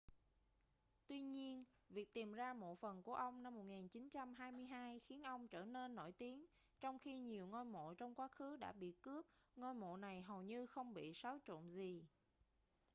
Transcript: tuy nhiên việc tìm ra mộ phần của ông năm 1922 khiến ông trở nên nổi tiếng trong khi nhiều ngôi mộ trong quá khứ đã bị cướp ngôi mộ này hầu như không bị xáo trộn gì